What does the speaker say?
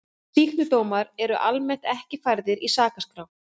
Sýknudómar eru almennt ekki færðir í sakaskrá.